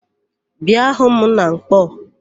Bịa hu m na Nkpọọ!